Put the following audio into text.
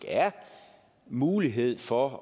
er mulighed for